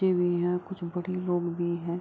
बच्चे भी हैं कुछ बड़े लोग भी हैं |